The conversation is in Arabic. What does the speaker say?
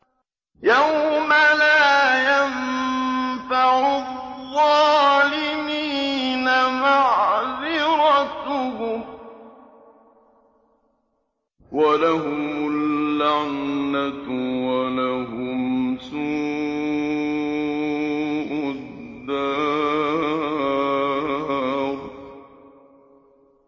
يَوْمَ لَا يَنفَعُ الظَّالِمِينَ مَعْذِرَتُهُمْ ۖ وَلَهُمُ اللَّعْنَةُ وَلَهُمْ سُوءُ الدَّارِ